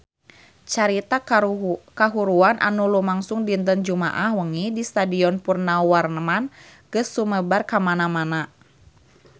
Carita kahuruan anu lumangsung dinten Jumaah wengi di Stadion Purnawarman geus sumebar kamana-mana